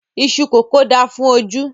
Iṣú kókò da fún ojú